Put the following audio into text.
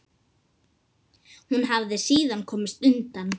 Hún hafi síðan komist undan.